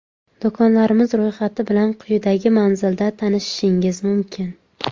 Do‘konlarimiz ro‘yxati bilan quyidagi manzilda tanishishingiz mumkin.